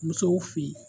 Musow fe ye